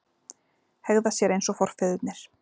Hegða sér eins og forfeðurnir